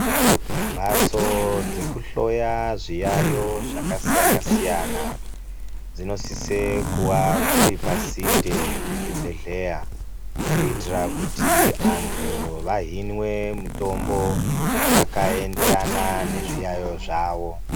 Mbatso dzekuhloya zviyayo zvakasiyana siyana dzinosise kunge dziri pasinde pezvibhehlera kuitira kuti vandu vahinwe mutombo yakaenderana nezviyayo zvavo